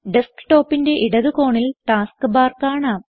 ഡസ്ക്ടോപ്പിന്റെ ഇടത് കോണിൽ task bar കാണാം